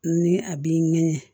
Ni a b'i ŋɛɲɛ